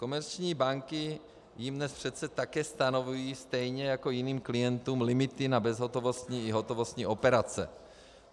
Komerční banky jim dnes přece také stanovují, stejně jako jiným klientům, limity na bezhotovostní i hotovostní operace.